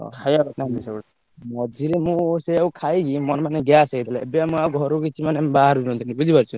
ଖାଇବା କଥା ନୁହେ ସେଗୁଡା। ମଝିରେ ମୁଁ ସେଇଆକୁ ଖାଇକି ମୋର ମାନେ gas ହେଇ ଯାଇଥିଲା ଏବେ ଆଉ ମୁଁ ଘରୁ କିଛି ମାନେ ବାହାରୁ ନଥିନୀ ବୁଝି ପାରୁଛ।